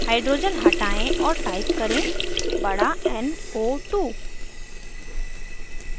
hydrogen हटायें और type करें बड़ा n o 2